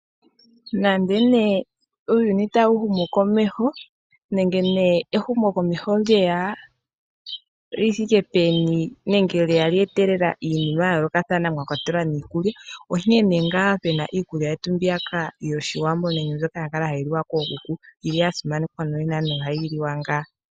Nande ne uuyini ta wu humu komeho nenge ne ehumo komeho lyeya lithike peni nenge lyeya lyeetelela iinima ya yoolokathana mwakwatelwa niikulya, onkene ngaa pena iikulya yetu mbiya ka yoshiwambo nenge zoka ya kala hayi liwa kookuku mbiya simanekwa nonena ohayi liwa ngaa.